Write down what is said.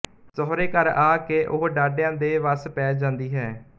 ਸਹੁਰੇ ਘਰ ਵਿੱਚ ਆ ਕੇ ਉਹ ਡਾਢਿਆ ਦੇ ਵਸ ਪੈ ਜਾਂਦੀ ਹੈ